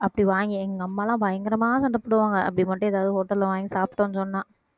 அப்படி வாங்கி, எங்க அம்மா எல்லாம், பயங்கரமா சண்டை போடுவாங்க. அப்படி மட்டும் ஏதாவது hotel ல வாங்கி சாப்பிட்டோம்னு சொன்னா